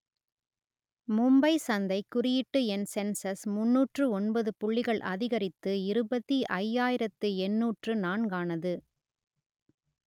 மும்பை சந்தை குறியீட்டு எண் சென்செக்ஸ் முன்னூற்று ஒன்பது புள்ளிகள் அதிகரித்து இருபத்தி ஐயாயிரத்து எண்ணூற்று நான்கானது